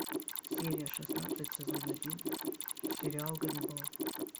серия шестнадцать сезон один сериал ганнибал